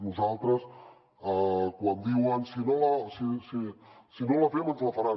nosaltres quan diuen si no la fem ens la faran